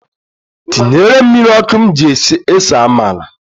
Tinyere m mmiri ọkụ m ji ese amala.